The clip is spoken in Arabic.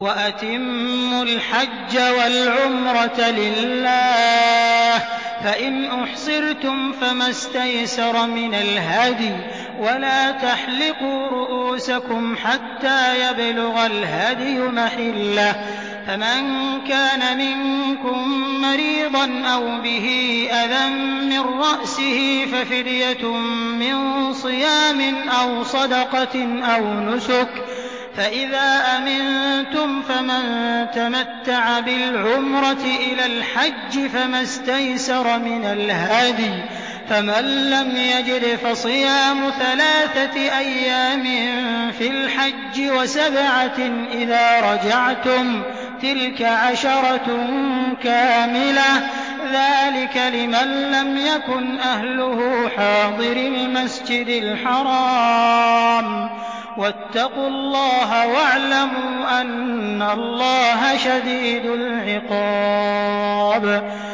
وَأَتِمُّوا الْحَجَّ وَالْعُمْرَةَ لِلَّهِ ۚ فَإِنْ أُحْصِرْتُمْ فَمَا اسْتَيْسَرَ مِنَ الْهَدْيِ ۖ وَلَا تَحْلِقُوا رُءُوسَكُمْ حَتَّىٰ يَبْلُغَ الْهَدْيُ مَحِلَّهُ ۚ فَمَن كَانَ مِنكُم مَّرِيضًا أَوْ بِهِ أَذًى مِّن رَّأْسِهِ فَفِدْيَةٌ مِّن صِيَامٍ أَوْ صَدَقَةٍ أَوْ نُسُكٍ ۚ فَإِذَا أَمِنتُمْ فَمَن تَمَتَّعَ بِالْعُمْرَةِ إِلَى الْحَجِّ فَمَا اسْتَيْسَرَ مِنَ الْهَدْيِ ۚ فَمَن لَّمْ يَجِدْ فَصِيَامُ ثَلَاثَةِ أَيَّامٍ فِي الْحَجِّ وَسَبْعَةٍ إِذَا رَجَعْتُمْ ۗ تِلْكَ عَشَرَةٌ كَامِلَةٌ ۗ ذَٰلِكَ لِمَن لَّمْ يَكُنْ أَهْلُهُ حَاضِرِي الْمَسْجِدِ الْحَرَامِ ۚ وَاتَّقُوا اللَّهَ وَاعْلَمُوا أَنَّ اللَّهَ شَدِيدُ الْعِقَابِ